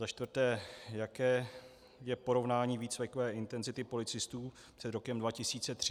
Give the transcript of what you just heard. Za čtvrté, jaké je porovnání výcvikové intenzity policistů před rokem 2013 a v současnosti?